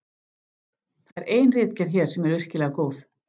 Það er ein ritgerð hér sem er virkilega góð.